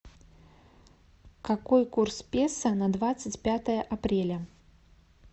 какой курс песо на двадцать пятое апреля